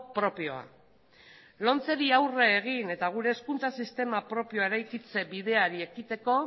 propioa lomceri aurre egin eta gure hezkuntza sistema propioa eraikitze bideari ekiteko